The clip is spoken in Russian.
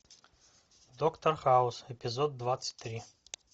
доктор хаус эпизод двадцать три